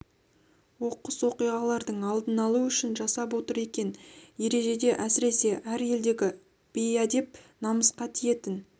оқыс оқиғалардың алдын алу үшін жасап отыр екен ережеде әсіресе әр елдегі бейәдеп намысқа тиетін